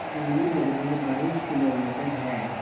दूरी लगभग बाईस किलोमीटर है